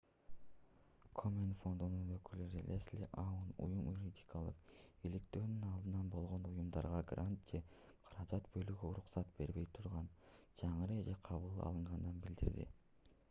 комен фондунун өкүлү лесли аун уюм юридикалык иликтөөнүн алдында болгон уюмдарга грант же каражат бөлүүгө уруксат бербей турган жаңы эреже кабыл алынганын билдирди